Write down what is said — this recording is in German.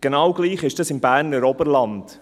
Genau gleich ist es im Berner Oberland.